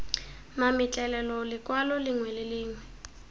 mametlelelo lekwalo lengwe le lengwe